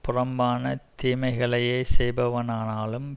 புறம்பான தீமைகளையே செய்பவனானாலும்